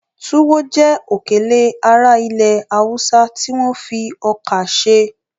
Túwọ́ jẹ́ òkèlè ará ilẹ̀ Haúsá tí wọ́n fi ọkà ṣe